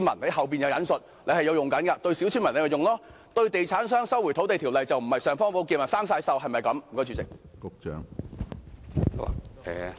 政府可以這樣對待小村民，但對地產商，《收回土地條例》是否不是"尚方寶劍"，而是生了鏽？